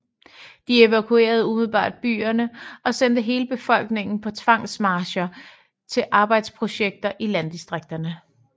De evakuerede umiddelbart byerne og sendte hele befolkningen på tvangsmarcher til arbejdsprojekter i landdistrikterne